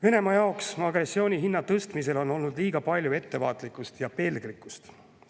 Venemaa jaoks agressiooni hinna tõstmisel on olnud liiga palju ettevaatlikkust ja pelglikkust.